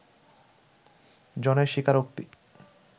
জনের স্বীকারোক্তি